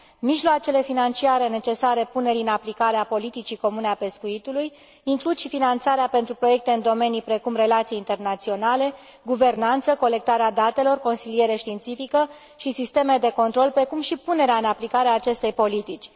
Mijloacele financiare necesare punerii în aplicare a politicii comune a pescuitului includ și finanțarea pentru proiecte în domenii precum relații internaționale, guvernanță, colectarea datelor, consiliere științifică și sisteme de control, precum și punerea în aplicare a acestei politici.